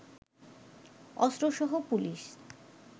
অস্ত্রসহ police